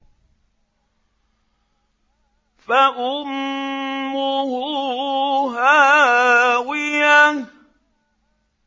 فَأُمُّهُ هَاوِيَةٌ